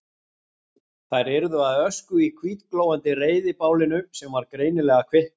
Þær yrðu að ösku í hvítglóandi reiðibálinu sem var greinilega að kvikna.